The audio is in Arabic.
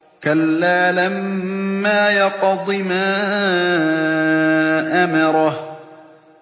كَلَّا لَمَّا يَقْضِ مَا أَمَرَهُ